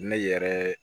Ne yɛrɛ